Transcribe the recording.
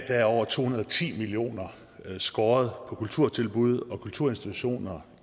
er over to hundrede og ti million kroner skåret på kulturtilbud og kulturinstitutioner